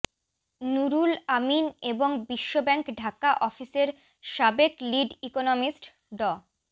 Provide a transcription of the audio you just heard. নূরুল আমিন এবং বিশ্বব্যাংক ঢাকা অফিসের সাবেক লিড ইকোনমিস্ট ড